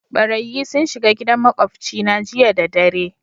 Ɓarayyi sun shiga gidan maƙwabci na jiya da dare.